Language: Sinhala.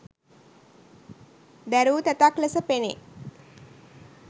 දැරූ තැතක් ලෙස පෙනේ.